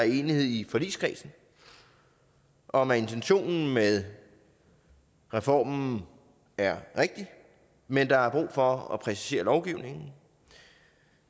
i forligskredsen om at intentionen med reformen er rigtig men der er brug for at præcisere lovgivningen